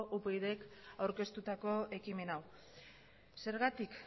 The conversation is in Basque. upydk babestutako ekimen hau zergatik